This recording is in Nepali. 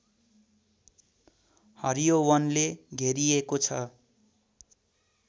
हरियो वनले घेरिएको छ